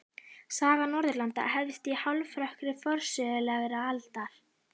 Saga Norðurlanda hefst í hálfrökkri forsögulegrar aldar.